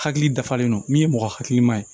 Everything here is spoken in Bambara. Hakili dafalen don min ye mɔgɔ hakiliman ye